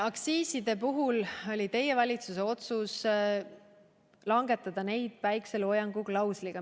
Aktsiiside puhul oli teie valitsuse otsus langetada neid päikeseloojangu klausliga.